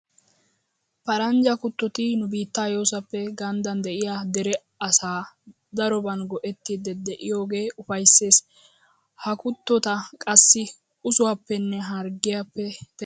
Paranjja kuttoti nu biittaa yoosappe ganddan de'iya dere asay daroban go"ettiiddi de'iyogee ufayssees. Ha kuttota qassi usuwappenne harggiyappe teqqanaagee toora xeera.